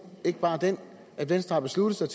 ikke bare den at venstre har besluttet sig